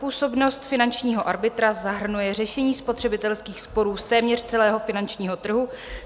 Působnost finančního arbitra zahrnuje řešení spotřebitelských sporů z téměř celého finančního trhu.